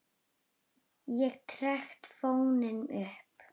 Ég trekkti fóninn upp.